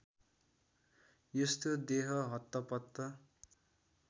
यस्तो देह हत्तपत्त